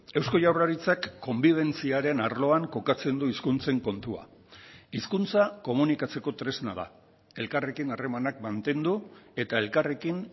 eusko jaurlaritzak konbibentziaren arloan kokatzen du hizkuntzen kontua hizkuntza komunikatzeko tresna da elkarrekin harremanak mantendu eta elkarrekin